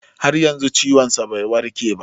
Har yanzu ciwon sa bai warke ba